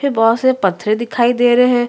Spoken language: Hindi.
फिर बहुत सारे पत्थरे दिखाई दे रहे है।